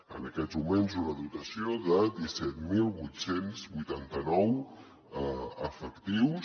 en aquests moments una dotació de disset mil vuit cents i vuitanta nou efectius